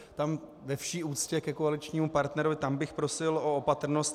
Tam ve vší úctě ke koaličnímu partnerovi, tam bych prosil o opatrnost.